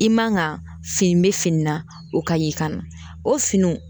I man ga fini be fini na o ka ɲi ka na o finiw